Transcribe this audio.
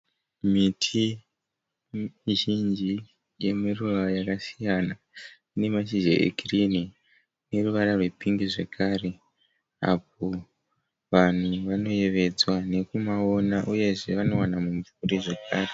Miti mizhinji yemiruva yakasiyana ine mashizha egirini neruvara rwepingi zvekare. Apo vanhu vanoyevedzwa nekumaona uyezve vanowana mumvuri zvekare.